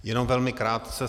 Jenom velmi krátce.